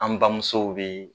An bamusow be